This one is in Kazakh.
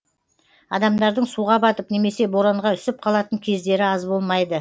адамдардың суға батып немесе боранға үсіп қалатын кездері аз болмайды